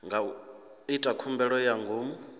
nga ita khumbelo ya ngomu